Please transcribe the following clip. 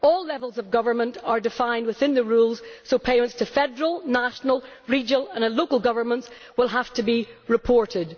All levels of government are defined within the rules, so payments to federal, national, regional or local governments will have to be reported.